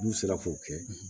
N'u sera k'o kɛ